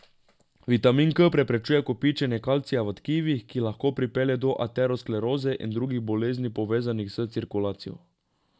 Vitamin K preprečuje kopičenje kalcija v tkivih, ki lahko pripelje do ateroskleroze in drugih bolezni povezanih s cirkulacijo.